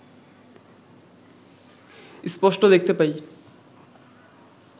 স্পষ্ট দেখতে পাই